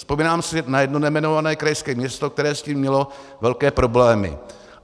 Vzpomínám si na jedno nejmenované krajské město, které s tím mělo velké problémy.